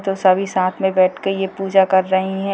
तो सभी साथ में बैठके ये पूजा कर रही हैं।